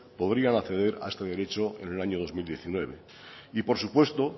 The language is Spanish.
podrían acceder a este derecho en el año dos mil diecinueve y por supuesto